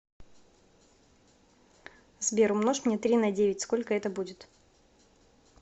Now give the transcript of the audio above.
сбер умножь мне три на девять сколько это будет